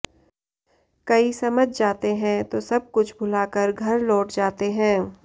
कई समझ जाते हैं तो सब कुछ भूलाकर घर लौट जाते है